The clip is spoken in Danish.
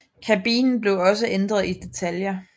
Kabinen blev også ændret i detaljer